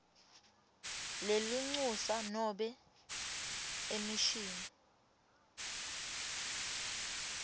lelincusa nobe emishini